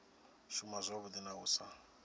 shuma zwavhui na u sa